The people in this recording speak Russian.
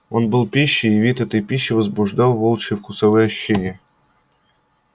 он был пищей и вид этой пищи возбуждал волчье вкусовые ощущения